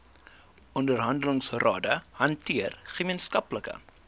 onderhandelingsrade hanteer gemeenskaplike